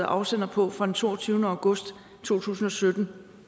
afsender på fra den toogtyvende august to tusind og sytten